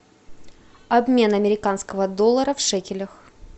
обмен американского доллара в шекелях